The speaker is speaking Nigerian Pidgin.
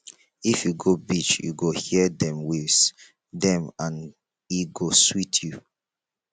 if you go beach you go hear dem waves dem and e go sweet you